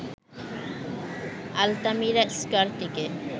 Altamira স্কয়ারটিকে